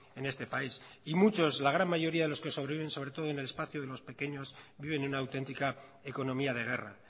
en este país y muchos la gran mayoría de los que sobreviven sobre todo en el espacio de los pequeños viven una autentica economía de guerra